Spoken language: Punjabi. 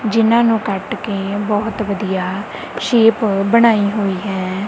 ਜਿਨ੍ਹਾਂ ਨੂੰ ਕਟ ਕੇ ਬਹੁਤ ਵਧੀਆ ਸ਼ੇਪ ਬਣਾਈ ਹੋਈ ਹੈ।